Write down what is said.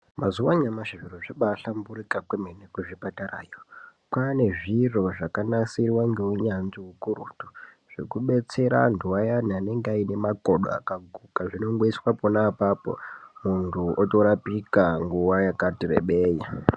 Mazuwa anyamashi zviro zvabaahlamburuka kwemene kuzvipatarayo kwaane zviro zvakanasirwa ngeunyanzvi ukurutu zvekubetsera anhu ayani anenge ane makodo akaguka zvinongoiswa pona apapo munhu otorapika nguwa yakati rebei.